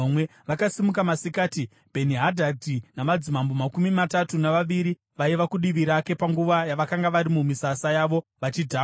Vakasimuka masikati, Bheni-Hadhadhi namadzimambo makumi matatu navaviri vaiva kudivi rake panguva yavakanga vari mumisasa yavo vachidhakwa.